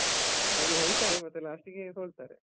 ಹಾಗೆ ಹೇಳ್ತಾರೆ ಮತ್ತೆ last ಗೆ ಸೋಲ್ತಾರೆ.